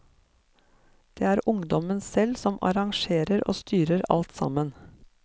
Det er ungdommen selv som arrangerer og styrer alt sammen.